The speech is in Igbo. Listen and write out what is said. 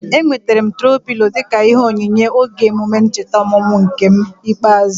Enwetere m troo pịlo dịka ihe onyinye oge emume ncheta ọmụmụ m nke ikpeazụ